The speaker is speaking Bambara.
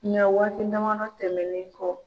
Nga waati damadɔ tɛmɛnlen kɔ